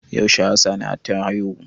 Yaushe hassana ta haihu?